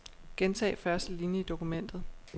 Gentag første linie i dokumentet.